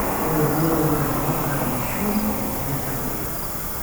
ore enkumoi oo lairemok naa inkushu eturie ilchampai